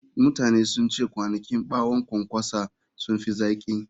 Mutane sun ce kwanakin ɓawon ƙwanƙwasa sun fi zaƙi.